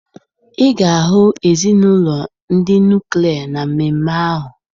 Ị ga-ahụ ezinụlọ ndị nuklia na mmemme ahụ